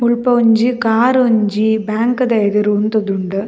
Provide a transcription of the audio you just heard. ಮುಲ್ಪ ಒಂಜಿ ಕಾರ್ ಒಂಜಿ ಬ್ಯಾಂಕ್ದ ಎದುರು ಉಂತೊಂದುಂಡ್.